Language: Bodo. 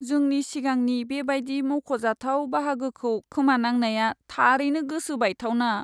जोंनि सिगांनि बेबायदि मख'जाथाव बाहागोखौ खोमानांनाया थारैनो गोसो बायथावना।